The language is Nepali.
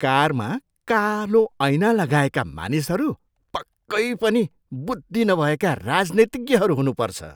कारमा कालो ऐना लगाएका मानिसहरू पक्कै पनि बुद्धि नभएका राजनीतिज्ञहरू हुनुपर्छ।